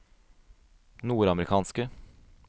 nordamerikanske